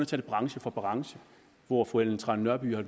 tage branche for branche hvor fru ellen trane nørby har